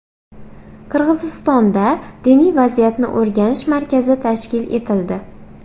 Qirg‘izistonda diniy vaziyatni o‘rganish markazi tashkil etildi.